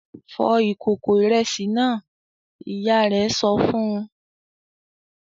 "Fọ ìkòkò ìrẹsì náà!" Ìyá rẹ̀ sọ fún un.